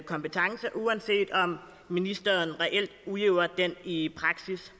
kompetence uanset om ministeren reelt udøver den i praksis